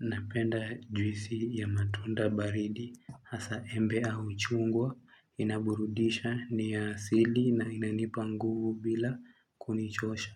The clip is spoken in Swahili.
Napenda juisi ya matunda baridi hasa embe au chungwa, inaburudisha ni ya asili na inanipa nguvu bila kunichosha.